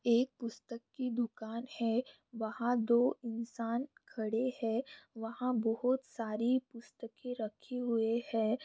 एक पुस्तक की दुकान है। वहाँ दो इंसान खड़े है। वहाँ बोहोत सारी पुस्तके रखी हुए है।